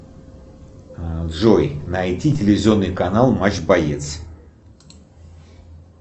джой найти телевизионный канал матч боец